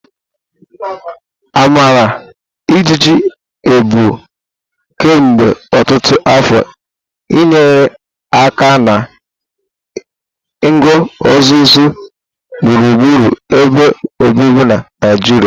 Amara ijiji ebu kemgbe ọtụtụ afọ nyere aka na nguzozi gburugburu ebe obibi na Naijiria.